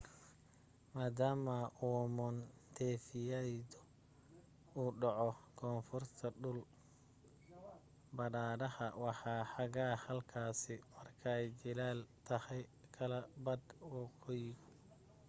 maadaama uu montefidyo uu dhaco koonfurta dhul badhaha waa xagaa halkaasi markay jiilaal tahay kala badh waqooyigu